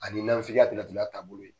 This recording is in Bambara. A ni nanfigiya fɛnɛ tugu, o y'a taabolo ye